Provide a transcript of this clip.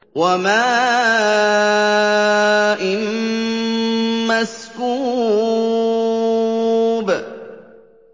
وَمَاءٍ مَّسْكُوبٍ